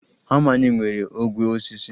Hama anyị nwere ogwe osisi